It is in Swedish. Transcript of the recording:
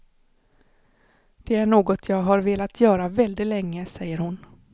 Det är något jag har velat göra väldigt länge, säger hon.